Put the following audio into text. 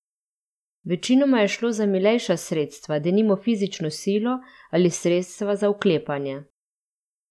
Večinoma je šlo za milejša sredstva, denimo fizično silo ali sredstva za vklepanje.